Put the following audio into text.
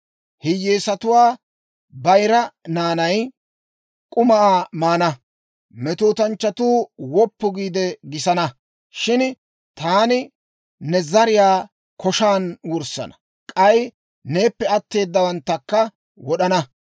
Hiyyeesatuwaa bayira naanay k'umaa maana; metootanchchatuu woppu giide gisana. Shin taani ne zariyaa koshan wurssana; k'ay neeppe atteedawaanttakka wod'ana.